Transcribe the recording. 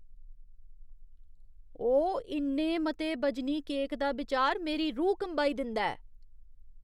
ओह्, इन्ने मते बजनी केक दा बिचार मेरी रूह् कंबाई दिंदा ऐ